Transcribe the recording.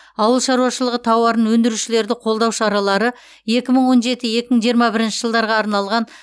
ауыл шаруашылығы тауарын өндірушілерді қолдау шаралары екі мың он жеті екі мың жиырма бірінші жылдарға арналған